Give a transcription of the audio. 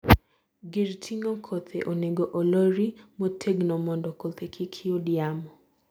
gir ting'o kothe onego olori motegnomondo kothe kik yud yamo